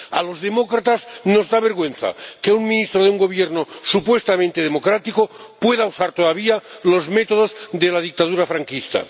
A los demócratas nos da vergüenza que un ministro de un gobierno supuestamente democrático pueda usar todavía los métodos de la dictadura franquista.